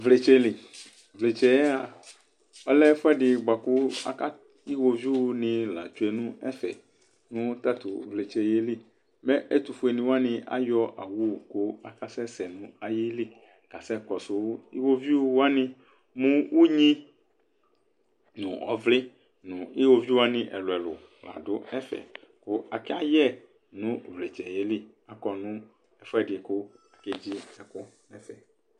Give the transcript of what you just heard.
Ʋvletseli ʋvletse' ayaa ɔlɛ ɛfuɛɖi boakʋ aka tʋ iwovuini la tsue nɛfɛnʋ tatʋ ʋvletsɛyɛliƐtʋfueniwani ayɔ owʋ kʋ ɔkasɛsɛ n'ayili kasɛ kɔsʋ iwovuiwani mʋ ʋynii, nʋ ɔvlii nʋ iwovuiwani ɛluɛlu laɖʋ ɛfɛ, kʋ akayɛ nʋ uvletseyɛliakɔ nʋ ɛfuɛɖi